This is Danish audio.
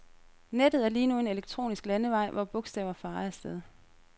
Nettet er lige nu en elektronisk landevej, hvor bogstaver farer af sted.